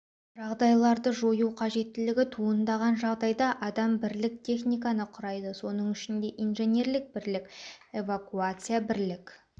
жағдайларды жою қажеттілігі туындаған жағдайда адам бірлік техниканы құрайды соның ішінде инженерлік бірлік эвакуация бірлік